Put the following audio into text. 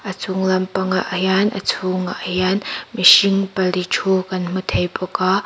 a chunglam pangah hian a chhûngah hian mihring pali ṭhu kan hmu thei bawk a--